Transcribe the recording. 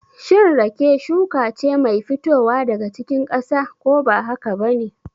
Shin rake shuka ce mai fitowa daga cikin ƙasa, ko ba haka ba ne?